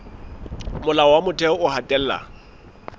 molao wa motheo o hatella